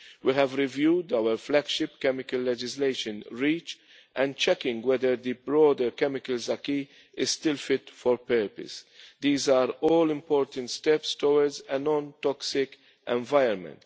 We have reviewed our flagship chemical legislation REACH' and are checking whether the broader chemicals acquis is still fit for purpose. These are all important steps towards a non toxic environment.